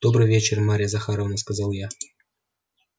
добрый вечер марья захаровна сказал я